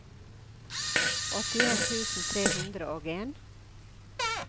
åttien tusen tre hundre og en